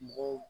Mɔgɔw